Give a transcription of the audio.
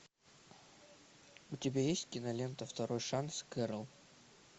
у тебя есть кинолента второй шанс кэрол